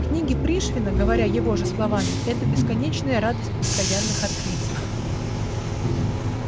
книги пришвина говоря его же словами это бесконечная радость постоянных открытий